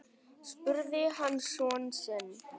spurði hann son sinn.